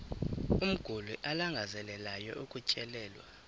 umguli alangazelelayo ukutyelelwa